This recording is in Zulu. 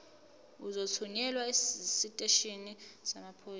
uzothunyelwa esiteshini samaphoyisa